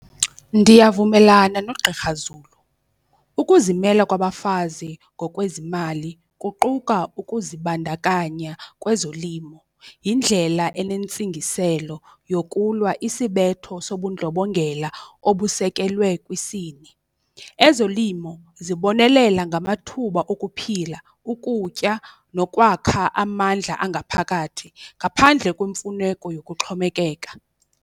Ndiyavumelana noGqr Zulu, ukuzimela kwabafazi ngokwezimali kuquka ukuzibandakanya kwezolimo, yindlela enentsingiselo yokulwa isibetho sobundlobongela obusekelwe kwisini. Ezolimo zibonelela ngamathuba okuphila, ukutya nokwakha amandla angaphakathi ngaphandle kwemfuneko yokuxhomekeka.